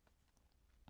TV 2